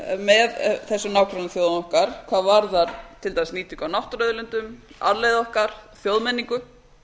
með þessum nágrannaþjóðum okkar hvað varðar til dæmis nýtingu á náttúruauðlindum arfleifð okkar þjóðmenningu